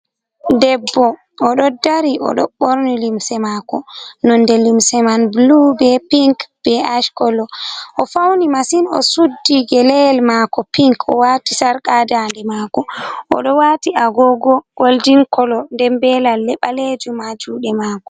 Debbo ɗo dari o ɗo ɓorni limse mako nonde limse man blu be pinc be ash kolo. O fauni masin o suddi gele yel mako pinc, o wati sarka ha dande mako, o ɗo wati agogo goldin kolo nden ɓe lalle ɓalejum ha juɗe mako.